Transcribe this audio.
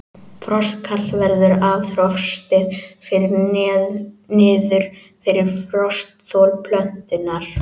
Frostkal verður ef frostið fer niður fyrir frostþol plöntunnar.